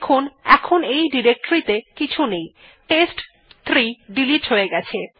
দেখুন এখন ডিরেক্টরী ত়ে কিছু নেই টেস্ট3 ডিলিট হয়ে গেছে